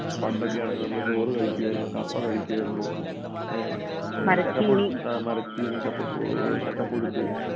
പണ്ടൊക്കെ യാണെങ്കിൽ നമ്മളെ ചോറ് കഴിക്കുവായിരുന്നു കപ്പ കഴിക്കുമായിരുന്നു ഏ കപ്പ പുഴു ആ മരച്ചീനി കപ്പപ്പൂ ചക്കപ്പുഴുക്ക്